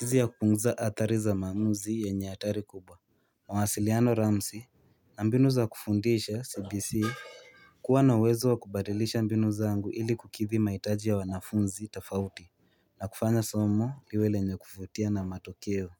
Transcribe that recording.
jinsi ya kupunguza hadhar i za maamuzi yenye hatari kubwa mawasiliano Ramsey na mbinu za kufundisha CBC kuwa na uwezo wa kubadilisha mbinu zangu ili kukidhi mahitaji ya wanafunzi tofauti na kufanya somo liwe lenye kuvutia na matokeo.